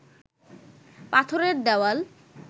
পাথরের দেওয়াল